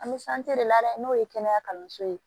An bɛ de ladu n'o ye kɛnɛya kalanso ye